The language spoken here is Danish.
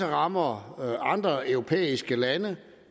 rammer andre europæiske lande